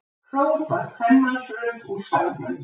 hrópar kvenmannsrödd úr salnum.